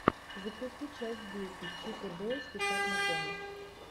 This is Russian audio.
запусти часть десять чип и дейл спешат на помощь